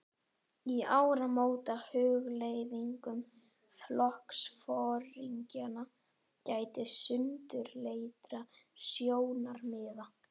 Í áramótahugleiðingum flokksforingjanna gætti sundurleitra sjónarmiða.